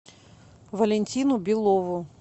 валентину белову